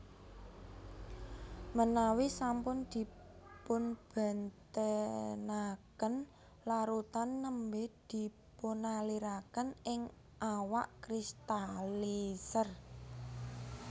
Ménawi sampun dipunbénténakén larutan némbè dipunalirakén ing awak kristaliser